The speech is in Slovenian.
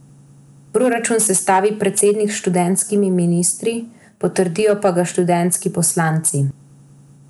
Proračun sestavi predsednik s študentskimi ministri, potrdijo pa ga študentski poslanci.